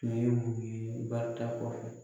Nin ye mun barika kɔfɛ.